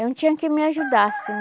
Não tinha quem me ajudasse